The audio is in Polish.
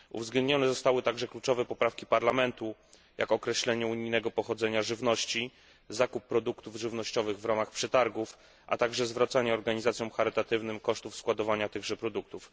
Uwzględnione zostały także kluczowe poprawki Parlamentu, jak określenie unijnego pochodzenia żywności, zakup produktów żywnościowych w ramach przetargów, a także zwracanie organizacjom charytatywnym kosztów składowania tychże produktów.